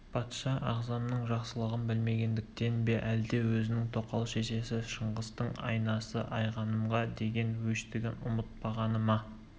патша ағзамның жақсылығын білмегендігінен бе әлде өзінің тоқал шешесі шыңғыстың анасы айғанымға деген өштігін ұмытпағаны ма